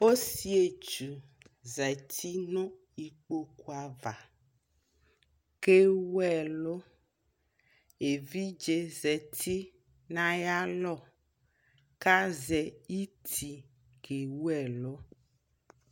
ɔsii ɛtwʋ zati nʋ ikpɔkʋ aɣa kʋ ɛwʋ ɛlʋ, ɛvidzɛ zati nʋ ayi alɔ kʋ azɛ iti kɛ wʋɛlʋ